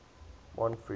montfree